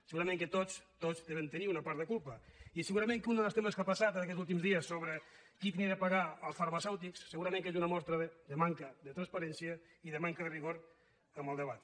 segurament que tots tots devem tenir una part de culpa i segurament que un dels temes que ha passat en aquests últims dies sobre qui havia de pagar als farmacèutics és una mostra de manca de transparència i de manca de rigor en el debat